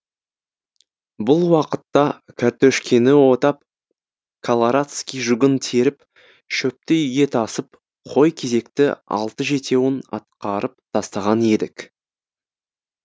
бұл уақытта кәртөшкені отап каларадский жугын теріп шөпті үйге тасып қой кезекті алты жетеуін атқарып тастаған едік